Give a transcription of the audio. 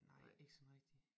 Nej ikke sådan rigtig